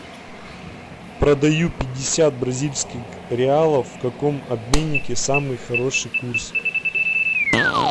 продаю пятьдесят бразильских реалов в каком обменнике самый хороший курс